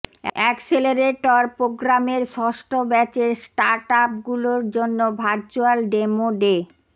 accelerator প্রোগ্রামের ষষ্ঠ ব্যাচের স্টার্টআপগুলোর জন্য ভার্চ্যুয়াল ডেমো ডে